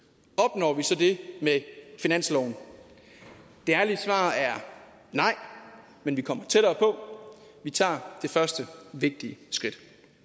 opnår vi så det med finansloven det ærlige svar er nej men vi kommer tættere på vi tager det første vigtige skridt